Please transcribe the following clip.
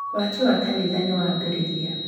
Waki wa kanitha nĩ wambĩrĩria.